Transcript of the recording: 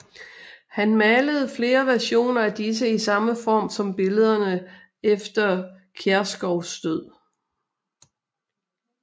Han malede flere versioner af disse i samme form som billederne efter Kiærskous død